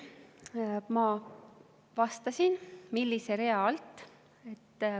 Ma vastasin, millise rea alt.